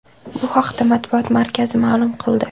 Bu haqda matbuot markazi ma’lum qildi .